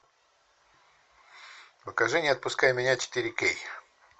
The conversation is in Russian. покажи не отпускай меня четыре кей